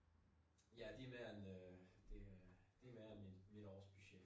Ja det mere end øh det øh det mere end mit mit årsbudget